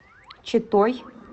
читой